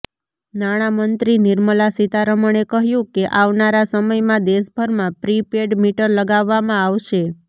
નાણામંત્રી નિર્મલા સીતારમણે કહ્યું કે આવનારા સમયમાં દેશભરમાં પ્રી પેડ મીટર લગાવવામાં આવશે